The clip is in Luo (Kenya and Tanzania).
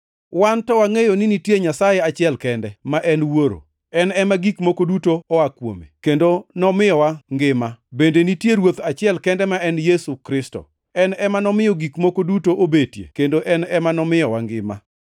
wan to wangʼeyo ni nitie Nyasaye achiel kende, ma en Wuoro. En ema gik moko duto noa kuome, kendo nomiyowa ngima. Bende nitie Ruoth achiel kende ma en Yesu Kristo. En ema nomiyo gik moko duto obetie kendo en ema omiyowa ngima.